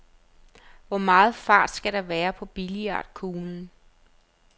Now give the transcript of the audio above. Hvor meget fart skal der være på billiardkuglen?